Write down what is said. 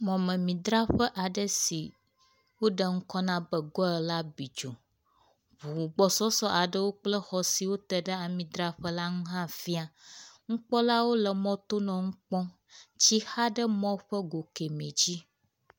Mɔmemidraƒe aɖe si woɖe ŋkɔ na be goil la bidzo, ʋu gbɔsɔsɔ aɖewo kple xɔ siwo te ɖe amidraƒe la ŋu hã fia. Nukpɔlawo nɔ mɔto nɔ nu kpɔm, tsi xa ɖe mɔ ƒe go kɛmɛ dzi.